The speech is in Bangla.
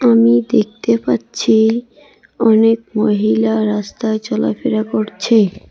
আমি দেখতে পাচ্ছি অনেক মহিলা রাস্তায় চলাফেরা করছে।